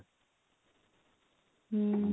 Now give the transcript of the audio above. ହୁଁ